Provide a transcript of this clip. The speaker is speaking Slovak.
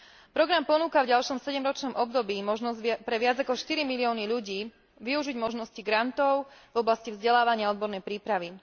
Program ponúka v ďalšom sedemročnom období možnosť pre viac ako štyri milióny ľudí využiť možnosti grantov v oblasti vzdelávania a odbornej prípravy.